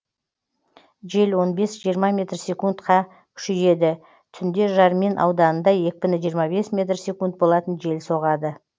жел он бес жиырма метр секунд қа күшейеді түнде жармин ауданында екпіні жиырма бес метр секунд болатын жел соғады